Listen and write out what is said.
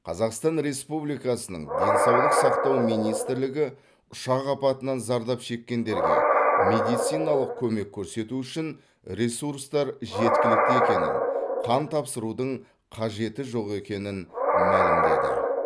қазақстан республикасының денсаулық сақтау министлігі ұшақ апатынан зардап шеккендерге медициналық көмек көрсету үшін ресурстар жеткілікті екенін қан тапсырудың қажеті жоқ екенін мәлімдеді